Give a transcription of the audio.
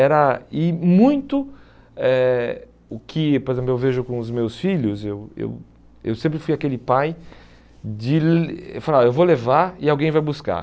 Era e muito eh o que, por exemplo, eu vejo com os meus filhos, eu eu eu sempre fui aquele pai de falar, eu vou levar e alguém vai buscar.